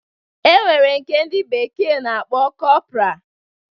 E nwere nke ndi bekee na-akpọ kọpra